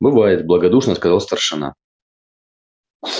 бывает благодушно сказал старшина